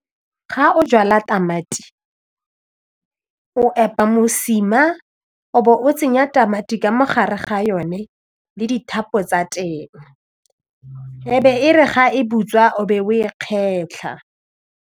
Ga o jala tamati o epa mosima o bo o tsenya tamati ka mo gare ga yone le dithapo tsa teng e be e re ga e butswa o be o e kgetlha.